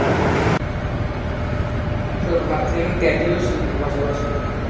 তো ভাবছি আমি Tally ও শিখবো তার পাশাপাশি